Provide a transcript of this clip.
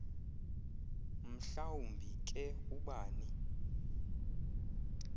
mhlawumbi ke ubani